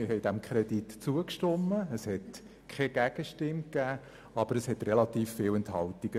Wir haben dem Kredit zugestimmt, und dabei gab es keine Gegenstimme, jedoch relativ viele Enthaltungen.